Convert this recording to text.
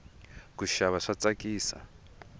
kuxava swa tsakisa